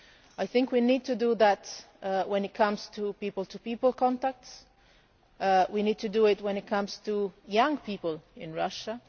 I think we need to do that when it comes to people-to-people contacts, and we need to do it when it comes to young people in Russia.